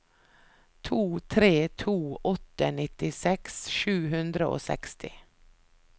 to tre to åtte nittiseks sju hundre og seksti